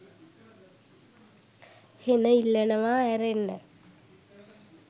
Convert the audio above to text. හෙන ඉල්ලනවා ඇරෙන්න